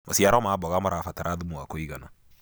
maciaro ma mboga marabatara thumu wa kũigana